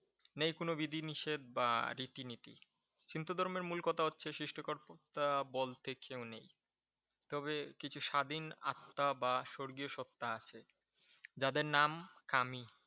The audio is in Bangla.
নেই কোন বিধি-নিষেধ বা রীতি নীতি । সিন্ত ধর্মের মূল কথা হচ্ছে সৃষ্টি করতে বলতে কেউ নেই। তবে কিছু স্বাধীন আত্মা বা স্বর্গীয় সত্তা আছে। যাদের নাম কামি।